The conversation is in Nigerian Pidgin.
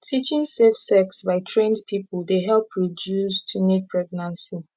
teaching safe sex by trained people dey help reduce teenage pregnancy